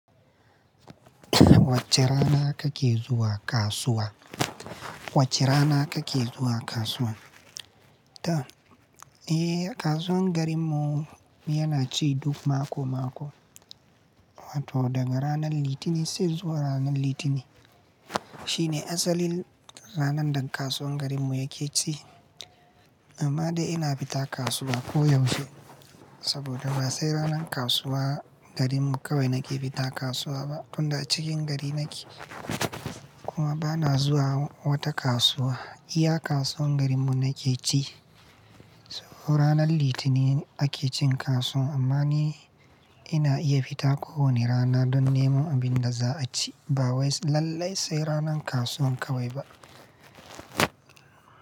Wacce rana kake zuwa kasuwa? Wacce rana kake zuwa kasuwa? Ta. Eh, kasuwan garinmu yana ci duk mako-mako. Wato daga ranan Litinin sai zuwa ranar Litinin. Shine asalin ranan da kasuwan garinmu yake ci. Amma dai ina fita kasuwa ko yaushe. Saboda ba sai ranan kasuwa garinmu kawai nake fita kasuwa ba, tunda a cikin gari nake. Kuma bana zuwa wata kasuwa, iya kasuwan garinmu nake ci. Ranan Litinin ake cin kasuwan amma ni ina iya fita ko wane rana don nemo abin da za a ci. Ba wai lallai sai ranan kasuwan kawai ba.